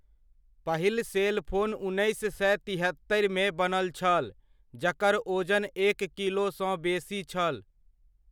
पहिल सेलफोन उन्नैस सए तिहत्तरिमे बनल छल, जकर ओजन एक किलोसँ बेसी छल।